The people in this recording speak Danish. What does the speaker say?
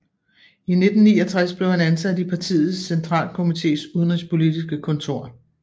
I 1969 blev han ansat i partiets centralkomités udenrigspolitiske kontor